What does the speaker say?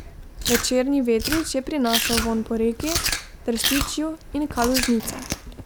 Večerni vetrič je prinašal vonj po reki, trstičju in kalužnicah.